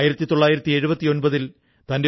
താങ്കൾക്ക് ഇഷ്ടപ്പെട്ട പുസ്തകമേതാണ്